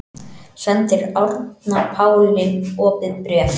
Sendir Árna Páli opið bréf